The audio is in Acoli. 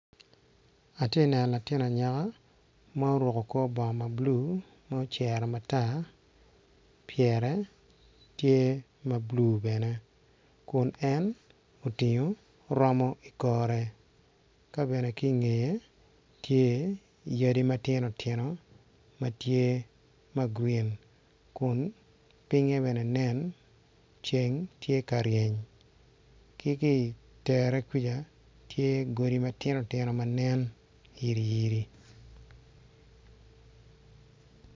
Atye ka neno latin anyaka ma oruko kor bongo ma blue ma ocero matar pyere tye ma blue bene kun en otingo oromo i kome kabene ki nge tye yadi matino tino matye magreen kun pinge bene nen ceng tye karyeny ki tere kuca tye godi mogo matye nen yiriyiri.